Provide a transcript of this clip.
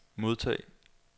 modtag